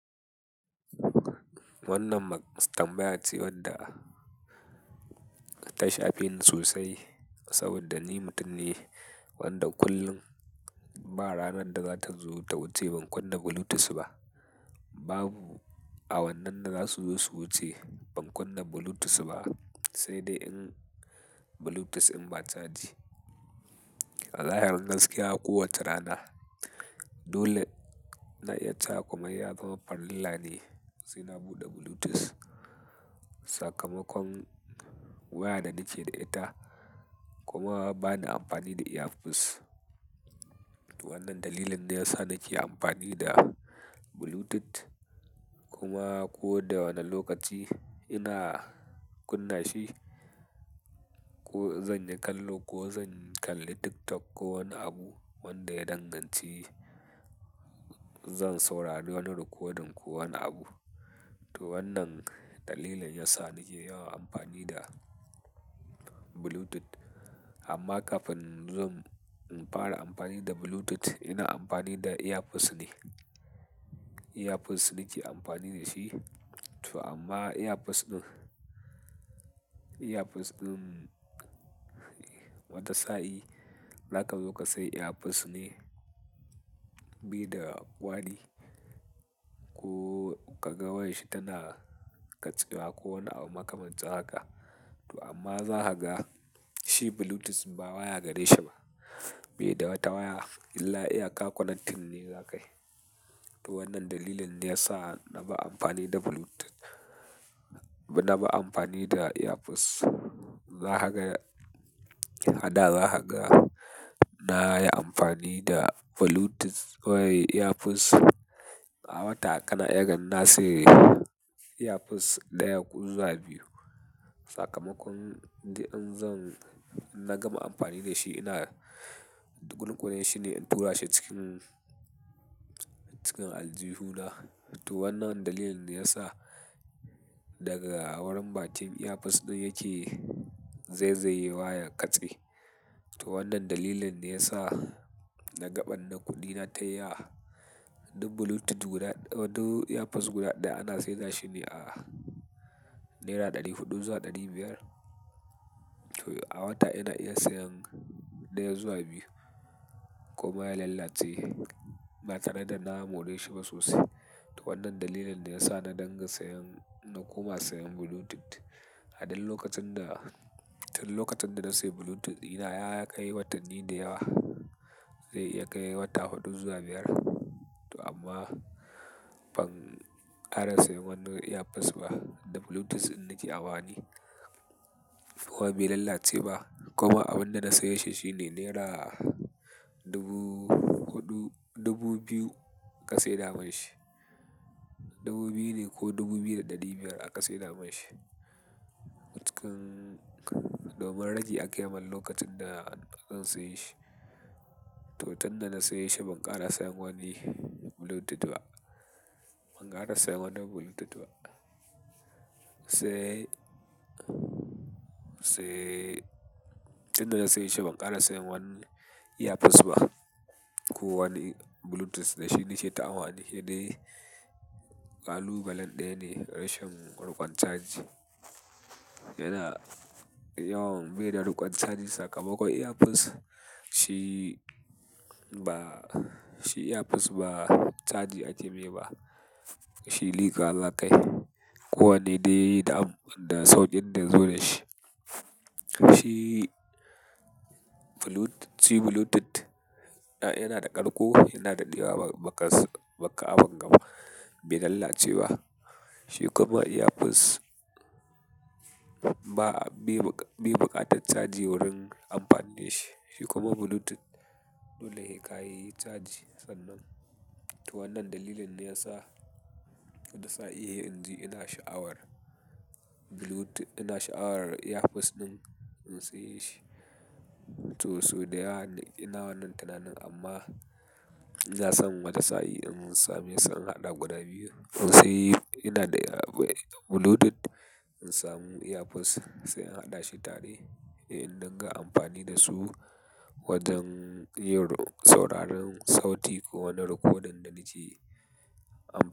Wannan mastambaya ce wadda ta shafe ni sosai saboda ni mutum ne wanda kullum ba ranan da za ta zo ta wuce ban kunna Bluetooth ba. Babu a wannan da za su zo su wuce ban kunna Bluetooth ba, sai dai in Bluetooth in ba caji. Wallahi gaskiya kowa ta rana. Dole na iya ta kuma ya zama farilla ne, sai na buɗe Bluetooth. Sakamakon waya da nike da ita kuma ba na amfani da earpiece. Wannan dalilin ne ya sa na ke amfani da Bluetooth kuma ko da wane lokaci ina kunna shi, ko zan yi kallo ko zan kalli TikTok ko wani abu wanda ya danganci zan saurari wani rikodin ko wani abu. To wannan dalilin ya sa na ke yawan amfani da Bluetooth. Amma kafin zan fara amfani da Bluetooth, ina amfani da earpiece ne. Earpiece nike amfani da shi, to amma earpiece ɗin, earpiece ɗin wata sa i zaka zo kasai earpiece ne, bi da kwari ko ka ga wayar shi tana katsewa ko wani abu makamancin haka. To amma za ka ga shi Bluetooth ba waya gare shi ba. Bi da wata waya illa iya ka konac tin ne za ka yi. To wannan dalilin ne ya sa na bar amfani da Bluetooth. Na bar amfani da earpiece. Za haka, a da za haka na yi amfani da Bluetooth wai earpiece a wata ƙana iya hanin na saye earpiece ɗaya ko zuwa biyu. Sakamakon da in zan inna gama amfani da shi ina ɗukunkune shi ne in tura shi cikin, cikin aljihuna. To wannan dalilin ne ya sa daga wurin ba'kim earpiece ɗin yake zai zai yi waya ya katse. To wannan dalilin ne ya sa na gaɓan na kuɗi na tayi a ɗin Bluetooth guda, wando earpiece guda ɗaya ana sayar shi ne a naira ɗari huɗu zuwa ɗari biyar. To a wata ina iya sayan ɗaya zuwa biyu kuma ya lallace ba tare da na more shi ba sosai. To wannan dalilin ne ya sa na dinga sayan na kuma sayan Bluetooth. A ɗan lokacin da, tun lokacin da na sayi Bluetooth ina ya kai watanni da yawa. Zai iya kai wata huɗu zuwa biyar. To amma ban kara sayan wani earpiece ba da Bluetooth in nice amfani. Ko bai lalace ba kuma abin da na saye shi shi ne naira dubu huɗu, dubu biyu ka sai da man shi. Dubu biyu ne ko dubu biyu da ɗari biyar aka sai da man shi. Cikin, domin ragi ake yi man lokacin da zan saye shi. To tun da na saye shi ban kara sayan wani Bluetooth ba. Ban kara sayan wani Bluetooth ba. Sai, sai tun da na saye shi ban kara sayan wani earpiece ba ko wani Bluetooth da shi nice ta amfani shi ne kalubalen ɗaya ne rashin ruƙon caji. Ina yawan bi da ruƙon caji sakamakon earpiece shi ba, shi earpiece ba caji ake yi ba. Shi liƙa zakai. Ko wane dai da sauƙin da ya zo da shi. Shi Bluetooth yana da ƙarko yana da ɗewa baka abin gaba bai lalace ba. Shi kuma earpiece be bu buƙatar caji wurin amfani da shi. Shi kuma Bluetooth dole sai kai caji sannan. To wannan dalilin ne ya sa wata sa in sai inji ina sha'awar Bluetooth, ina sha'awar earpiece ɗin in saye shi. To sau da yawa ina wannan tunanin amma na san wata sain in samesu sai in haɗa guda biyu. In sayi ina da Bluetooth in samu earpiece sai in haɗa shi tare in danga amfani da su wajen yin sauraron sauti ko wani rikodin da nice am-